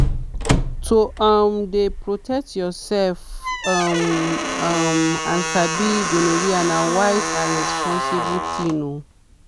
to um dey protect yourself um um and sabi gonorrhea na wise and responsible thing. um